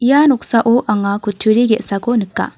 ia noksao anga kutturi ge·sako nika.